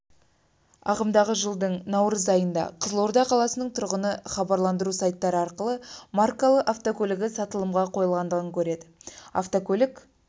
ағымдағы жылдың наурыз айында қызылорда қаласының тұрғыны хабарландыру сайттары арқылы маркалы автокөлігі сатылымға қойылғандығын көреді автокөлік